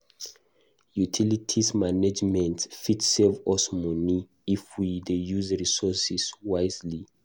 Utilities management fit save us money if we dey use resources wisely.